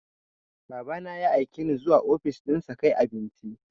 Baba na ya aike ni zuwa ofis ɗinsa kai abinci.